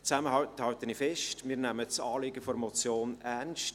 Zusammenfassend halte ich fest: Wir nehmen das Anliegen der Motion ernst.